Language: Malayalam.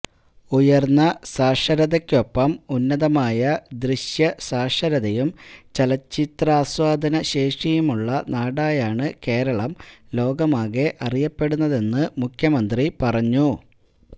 ഉയര്ന്ന സാക്ഷരതയ്ക്കൊപ്പം ഉന്നതമായ ദൃശ്യസാക്ഷരതയും ചലച്ചിത്രാസ്വാദന ശേഷിയുമുള്ള നാടായാണ് കേരളം ലോകമാകെ അറിയപ്പെടുന്നതെന്ന് മുഖ്യമന്ത്രി പറഞ്ഞു